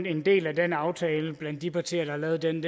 en del af den aftale blandt de partier der lavede den